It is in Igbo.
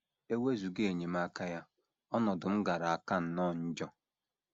E wezụga enyemaka ya, ọnọdụ m gaara aka nnọọ njọ. ”